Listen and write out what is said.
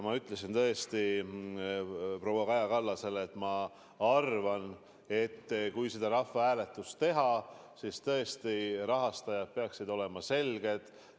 Ma ütlesin tõesti proua Kaja Kallasele, et ma arvan, et kui see rahvahääletus teha, siis rahastajad peaksid olema selged.